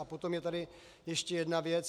A potom je tady ještě jedna věc.